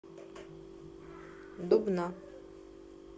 дубна